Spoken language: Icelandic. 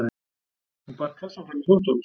Hún bar kassann fram í þvottahús.